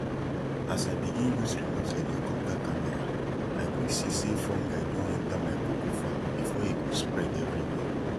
as i begin use remote helicopter camera i quick see say fungi don enter my cocoa farm before e go spread everywhere